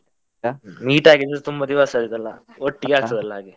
Meet ಆಗಿ ತುಂಬಾ ದಿವಸ ಆಯ್ತಲ್ಲ, ಒಟ್ಟಿಗೆ ಆಗ್ತದೆ ಅಲ್ಲ ಹಾಗೆ.